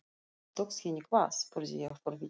Tókst henni hvað? spurði ég forvitin.